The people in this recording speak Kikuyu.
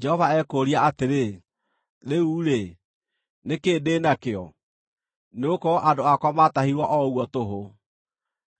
Jehova ekũũria atĩrĩ, “Rĩu-rĩ, nĩ kĩĩ ndĩ nakĩo? “Nĩgũkorwo andũ akwa maatahirwo o ũguo tũhũ,